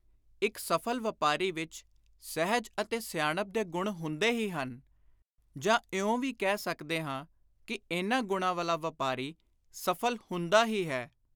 ਇਕ ਸਫਲ ਵਾਪਾਰੀ ਵਿਚ ਸਹਿਜ ਅਤੇ ਸਿਆਣਪ ਦੇ ਗੁਣ ਹੁੰਦੇ ਹੀ ਹਨ ਜਾਂ ਇਉਂ ਵੀ ਕਹਿ ਸਕਦੇ ਹਾਂ ਕਿ ਇਨ੍ਹਾਂ ਗੁਣਾਂ ਵਾਲਾ ਵਾਪਾਰੀ ਸਫਲ ਹੁੰਦਾ ਹੀ ਹੈ।